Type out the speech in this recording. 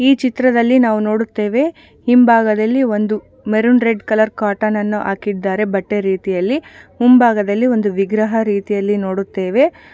ಈ ಚಿತ್ರದಲ್ಲಿ ನಾವು ನೋಡುತ್ತೇವೆ ಹಿಂಭಾಗದಲ್ಲಿ ಒಂದು ಮರೂನ್ ರೆಡ್ ಕಲರ್ ಕೋಟನನ್ನು ಹಾಕಿದ್ದಾರೆ ಬಟ್ಟೆ ರೀತಿಯಲ್ಲಿ ಮುಂಭಾಗದಲ್ಲಿ ಒಂದು ವಿಗ್ರಹ ರೀತಿಯಲ್ಲಿ ನೋಡುತ್ತೇವೆ.